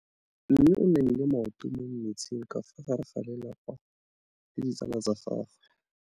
Mme o namile maoto mo mmetseng ka fa gare ga lelapa le ditsala tsa gagwe.